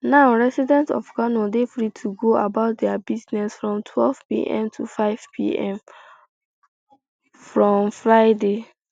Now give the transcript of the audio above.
now residents of kano dey free to go about dia business from twelvepm to fivepm um from um friday